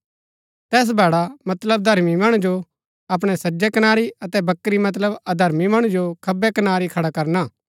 तैस भैड़ा मतलब धर्मी मणु जो अपणै सजै कनारी अतै बकरी मतलब अधर्मी मणु जो खब्बै कनारै खड़ा करना हा